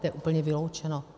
To je úplně vyloučeno.